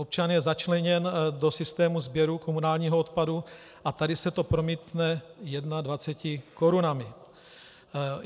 Občan je začleněn do systému sběru komunálního odpadu a tady se to promítne 21 korunami.